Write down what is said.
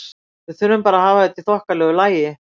Við þurfum bara að hafa þetta í þokkalegu lagi.